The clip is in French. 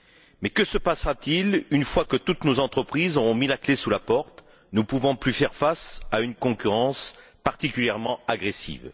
Mais que se passera t il une fois que toutes nos entreprises auront mis la clé sous la porte, ne pouvant plus faire face à une concurrence particulièrement agressive?